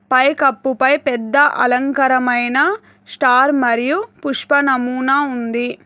పై కప్పు పై పెద్ద అలంకరమైన స్టార్ మరియు పుష్పనమూనా ఉంది.